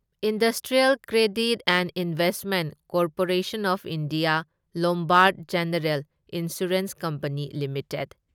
industrial credit and investment corporation of India Lombard general insurance company limited